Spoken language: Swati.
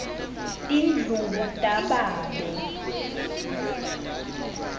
tindlubu tababe